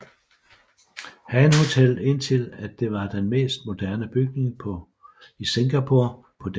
Han hotellet indtil at det var den mest moderne bygning i Singapore på den tid